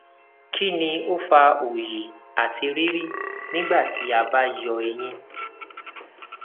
kini o fa oyi ati riri nigbati a ba yọ eyin